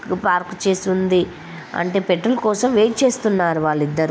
Park చేసి ఉంది అంటే పెట్రోల్ కోసం వెయిట్ చేస్తున్నారు వాళ్ళు ఇద్దరు.